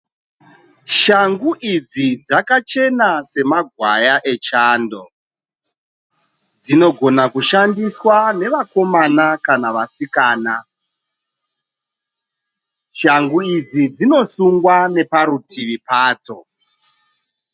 Shangu idzi dzakachena semagwaya echando, dzinogona kushandiswa nevakomana kana vasikana. Shangu idzi dzinosungwa neparutivi padzo.